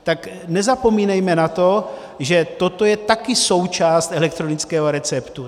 Tak nezapomínejme na to, že toto je taky součást elektronického receptu.